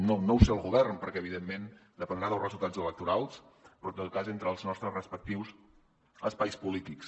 no sé si el govern perquè evidentment dependrà dels resultats electorals però en tot cas entre els nostres respectius espais polítics